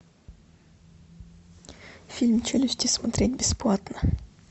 фильм челюсти смотреть бесплатно